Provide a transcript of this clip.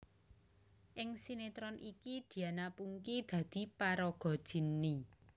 Ing sinetron iki Diana Pungky dadi paraga Jinny